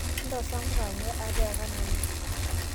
nosa mpuka amuu ateeka nanu